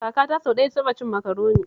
Kakata sau ɗaya ta taɓa cin Makaroni